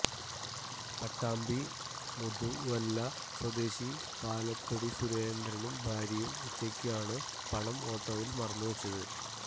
പട്ടാമ്പി മുതുവല്ല സ്വദേശി പാലത്തി തൊടി സുരേന്ദ്രനും ഭാര്യയും ഉച്ചയ്ക്കാണ് പണം ഓട്ടോയിൽ മറന്നു വെച്ചത്